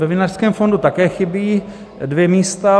Ve Vinařském fondu také chybí dvě místa.